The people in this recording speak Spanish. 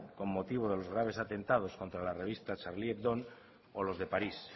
con motivo de los graves atentados contra la revista charlie hebdo o los de parís